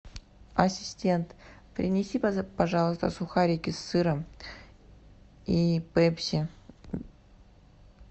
ассистент принеси пожалуйста сухарики с сыром и пепси